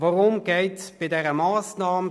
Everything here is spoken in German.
Worum geht es bei dieser Massnahme?